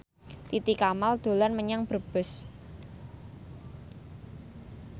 Titi Kamal dolan menyang Brebes